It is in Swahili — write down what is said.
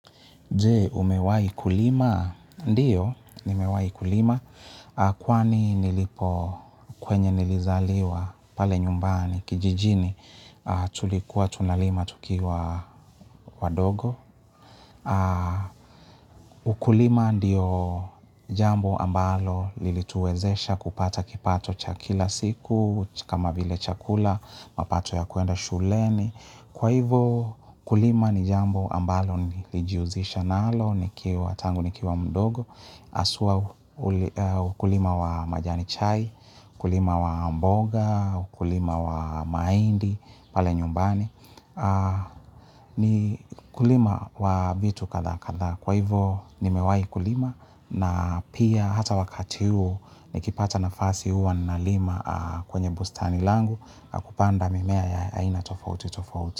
Jee, umewai kulima? Ndiyo, nimewai kulima. Kwani nilipo kwenye nilizaliwa pale nyumbani, kijijini, tulikuwa tunalima tukiwa wadogo. Ukulima ndiyo jambo ambalo lilituezesha kupata kipato cha kila siku, kama vile chakula, mapato ya kuenda shuleni. Kwa hivo kulima ni jambo ambalo niijihusisha nalo nikiwa tangu nikiwa mdogo haswa ukulima wa majani chai, ukulima wa mboga, ukulima wa mahindi, pale nyumbani. Ni kulima wa vitu kadhaa kadhaa. Kwa hivo nimewai kulima na pia hata wakati huu nikipata nafasi huwa nalima kwenye bustani langu nakupanda mimea ya aina tofauti tofauti.